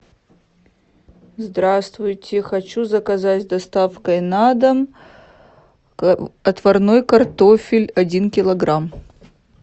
здравствуйте хочу заказать с доставкой на дом отварной картофель один килограмм